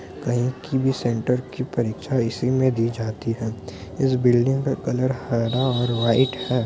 कहीं की भी सेंटर की परीक्षा इसी में दी जाती है इस बिल्डिंग का कलर हरा और वाइट है।